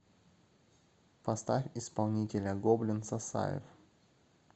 поставь исполнителя гоблин сасаев